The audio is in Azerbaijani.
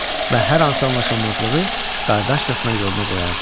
Və hər hansı anlaşılmazlığı qardaşcasına yoluna qoyardılar.